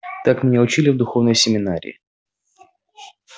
так меня учили в духовной семинарии